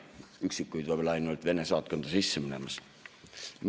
Üksikuid võib-olla ainult Vene saatkonda sisse minemas.